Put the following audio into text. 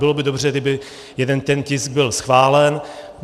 Bylo by dobře, kdyby jeden ten tisk byl schválen.